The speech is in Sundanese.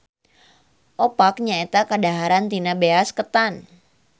Opak nyaeta kadaharan tina beas ketan.